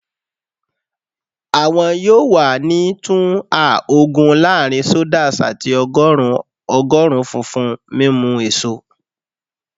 Awọn yoo wa ni tun a ogun laarin sodas ati ọgọrun ogorun funfun mimu eso